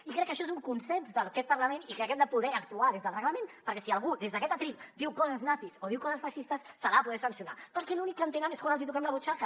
i crec que això és un consens d’aquest parlament i que hem de poder actuar des del reglament perquè si algú des d’aquest faristol diu coses nazis o diu coses feixistes se l’ha de poder sancionar perquè l’únic que entenen és quan els hi toquem la butxaca